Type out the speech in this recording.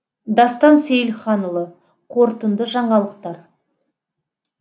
дастан сейілханұлы қорытынды жаңалықтар